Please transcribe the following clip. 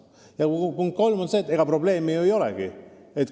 Ja punkt kolm on see, et probleemi ju ei olegi.